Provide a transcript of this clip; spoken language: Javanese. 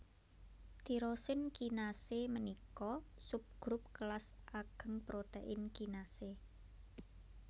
Tirosin kinasé ménika subgrup kélas agéng protèin kinasé